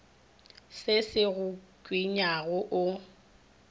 se se go tshwenyago o